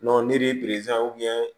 ni